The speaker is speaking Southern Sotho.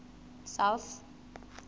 south